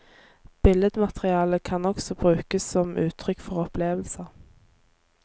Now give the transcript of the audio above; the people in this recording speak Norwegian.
Billedmateriale kan også brukes som uttrykk for opplevelser.